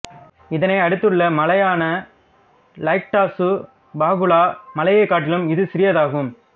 இதனை அடுத்துள்ள மலையான லைக்டாசு பாகுலா மலையைக் காட்டிலும் இது சிறியதாகும்